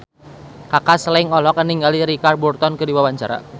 Kaka Slank olohok ningali Richard Burton keur diwawancara